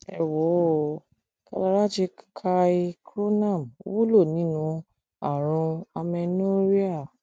ẹ wò ó kalarachi kai choornam wúlò nínú àrùn amenorrhea